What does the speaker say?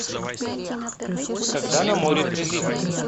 когда на море прилив